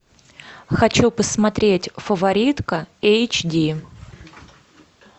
хочу посмотреть фаворитка эйч ди